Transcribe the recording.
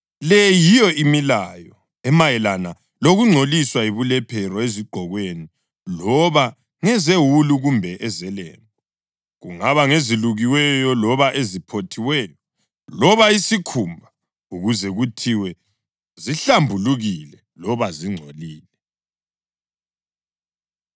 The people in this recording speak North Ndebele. Le yiyo imilayo emayelana lokungcoliswa yibulephero ezigqokweni loba ngezewulu kumbe ezelembu, kungaba ngezelukiweyo loba eziphothiweyo, loba isikhumba; ukuze kuthiwe zihlambulukile loba zingcolile.